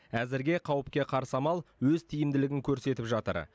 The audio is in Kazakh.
әзірге қауіпке қарсы амал өз тиімділігін көрсетіп жатыр